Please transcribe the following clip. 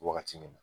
Wagati min na